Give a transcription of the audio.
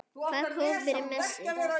Hvað kom fyrir Messi?